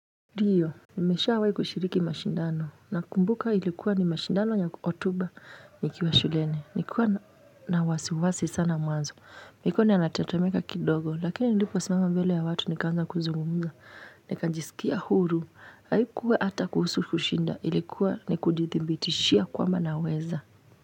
Dio, nimeshawai kushiriki mashindano nakumbuka ilikuwa ni mashindano ya Hotuba Nikiwa shuleni. Nikuwa na wasiwasi sana mwanzo. Nikuwa ninatetemeka kidogo, lakini niliposimama mbele ya watu nikaanza kuzungumuza. Nika jisikia huru, haikuwa ata kuhusu kushinda ilikuwa ni kudithibitishia kwamba naweza.